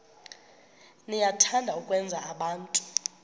niyathanda ukwenza abantu